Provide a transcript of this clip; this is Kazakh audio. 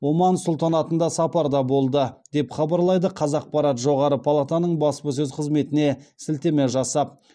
оман сұлтанатында сапарда болды деп хабарлайды қазақпарат жоғары палатаның баспасөз қызметіне сілтеме жасап